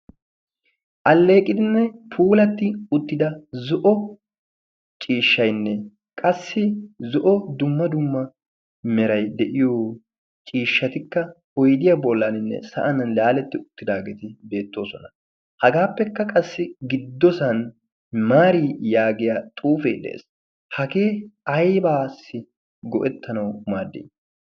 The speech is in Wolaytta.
alleeqidinne puulatti uttida zo7o ciishshainne qassi zo7o dumma dumma merai de7iyo ciishshatikka oidiyaa bollaaninne sa7an laaletti uttidaageeti beettoosona. hagaappekka qassi giddosan maari yaagiya xuufee de7ees. hagee aibaassi go7ettanau maaddi?